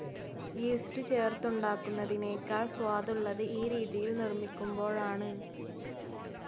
east ചേർത്തുണ്ടാക്കുന്നതിനേക്കാൾ സ്വാദുള്ളത് ഈ രീതിയിൽ നിർമിക്കുമ്പോഴാണ്